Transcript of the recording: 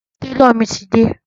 Tálọ̀ mi ti dé.